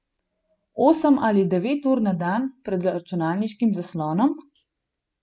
Osem ali devet ur na dan pred računalniškim zaslonom?